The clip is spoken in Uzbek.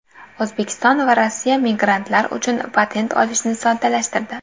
O‘zbekiston va Rossiya migrantlar uchun patent olishni soddalashtirdi.